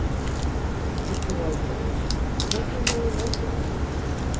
Lillý Valgerður: Hvernig hefur veturinn verið?